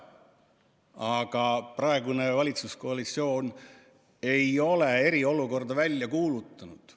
Aga praegune valitsuskoalitsioon ei ole eriolukorda välja kuulutanud.